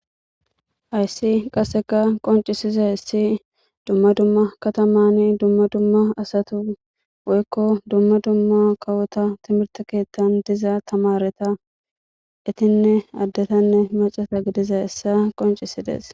Hayssi qasekka qoncisizayssi dumma dumma katammanni dumma dumma asatti woyko dumma dumma kawotta timirte keththan diza tamaretta ittinne maccatta gidizayssa qoncisses.